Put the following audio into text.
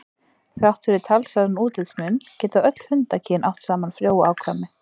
Þrátt fyrir talsverðan útlitsmun geta öll hundakyn átt saman frjó afkvæmi.